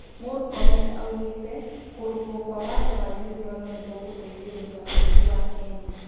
Mũrkomen araugire, kurungwo kwa watho wa gĩthurano nĩgũgũteithia bũrũri wa Kenya